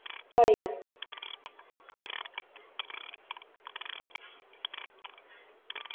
പറയു